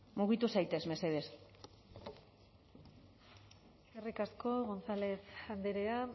mugitu zaitez mesedez eskerrik asko gonzález andrea